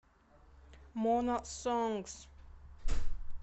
мона сонгз